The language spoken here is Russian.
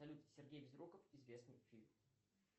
салют сергей безруков известный фильм